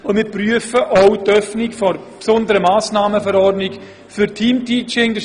Weiter prüfen wir die Öffnung der besonderen Massnahmenverordnung für Teamteaching.